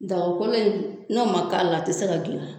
Daga kolon in n'o ma k'a la a te se ka gilan